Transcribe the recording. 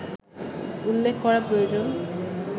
উল্লেখ করা প্রয়োজন